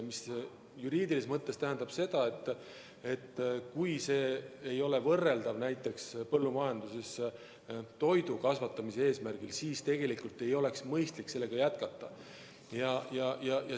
Juriidilises mõttes tähendab see seda, et kui see ei ole võrreldav näiteks põllumajanduses toidu kasvatamise eesmärgiga, siis tegelikult ei oleks mõistlik sellega jätkata.